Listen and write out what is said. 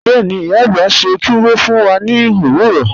Bẹ́ẹ̀ni, iya agbá sẹ́ túwọ́ fún wà ní ọ̀wọ̀rọ̀.